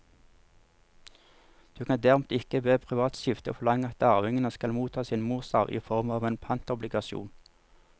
Du kan derimot ikke ved privat skifte forlange at arvingene skal motta sin morsarv i form av en pantobligasjon.